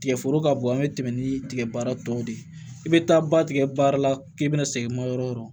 Tigɛ foro ka bon an be tɛmɛ ni tigɛbaara tɔw de ye i be taa ba tigɛ baara la k'i bɛna segin ma yɔrɔ yɔrɔ